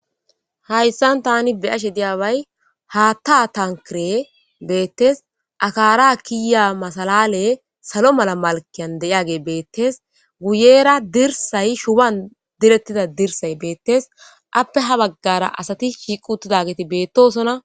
hayssan tani beyashe diyabay haattaa tankire beettes akaara kiya masalale salo mala malkiyan de7iage beettes guyeera dirsay shuban direttida dirsay beettes appe ha baggara asati shiiqu uttidageeti beettosona